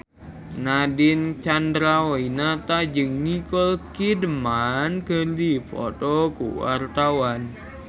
Nadine Chandrawinata jeung Nicole Kidman keur dipoto ku wartawan